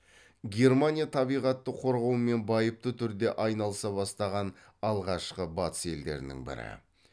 германия табиғатты қорғаумен байыпты түрде айналыса бастаған алғашқы батыс елдерінің бірі